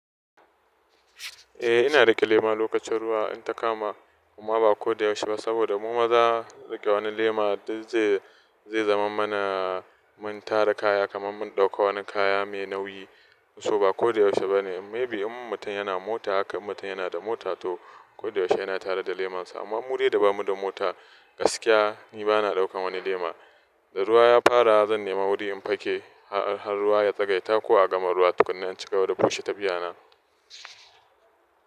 Eh ina riƙe lema lokacin ruwa in ta kama amma ba ko da yaushe ba saboda mu maza riƙe wani lema duk zai zai zaman mana mun tara kaya kaman mun ɗauka wani kaya mai nauyi. So ba ko da yaushe ba ne. Maybe in mutum yana mota haka in mutum yana da mota toh ko da yaushe yana tare da lemansa. Amma mu dai da ba mu da mota gaskiya ni bana ɗaukan wani lema. Da ruwa ya fara zan nema wuri in fake har ruwa ya tsagaita ko a gama ruwa tukuna in ci gaba da bushe tafiya na.